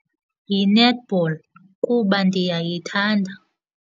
Yi-netball kuba ndiyayithanda.